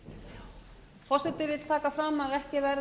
forseti vill taka fram að ekki